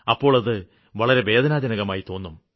അപ്പോള് അത് വളരെ വേദനാജനകമായി തോന്നും